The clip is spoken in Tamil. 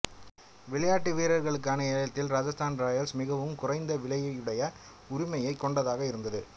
விளையாட்டு வீரர்களுக்கான ஏலத்தில் ராஜஸ்தான் ராயல்ஸ் மிகவும் குறைந்த விலையுடைய உரிமையைக் கொண்டதாக இருந்தது